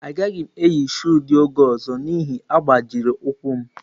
Agaghị m eyi shụụ dị ọgọ́ ọzọ n'ihi agbajiri ụkwụ m.